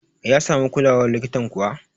ya samu kulawar likitan kuwa?